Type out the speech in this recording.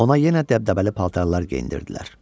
Ona yenə dəbdəbəli paltarlar geyindirdilər.